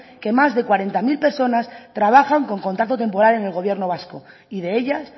que más de cuarenta mil personas trabajan con contrato temporal en el gobierno vasco y de ellas